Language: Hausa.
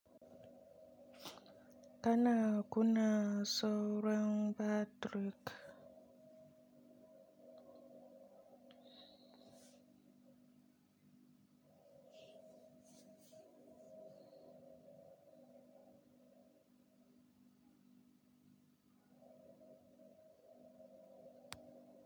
Kana kuna sauran Bad truk.